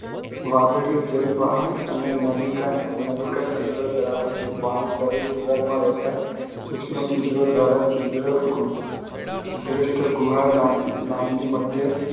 વાદળીઓ જલવહન કે નલિકાતંત્ર ધરાવે છે. પાણી શરીરદીવાલમાં રહેલા સુક્ષમછીદ્રો દ્વારા છીદ્રીષ્ઠગુહા નામની મધ્યસ્થ